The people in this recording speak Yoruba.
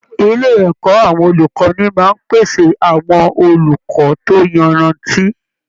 Ilé ẹ̀kọ́ àwọn olùkọ́ni máa ń pèsè àwọn olùkọ́ tó yanrantí